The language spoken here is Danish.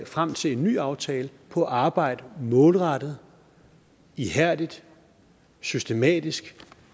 frem til en ny aftale på at arbejde målrettet ihærdigt og systematisk